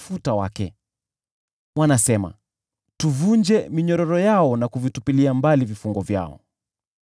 Yeye atawalaye mbinguni hucheka, Bwana huwadharau.